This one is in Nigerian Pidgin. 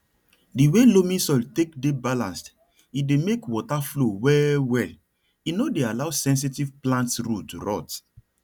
di way loamy soil take dey balanced e dey make water flow well well no dey allow sensitive plants root rot